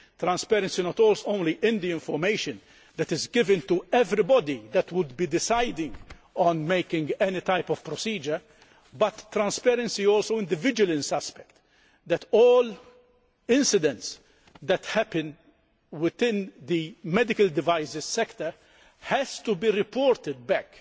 transparency not only in the information that is given to everybody who might be deciding on making any type of procedure, but transparency also in the vigilance aspect so that all incidents that happen within the medical devices sector have to be reported back.